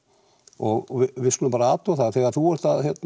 og við skulum bara athuga það að þegar þú ert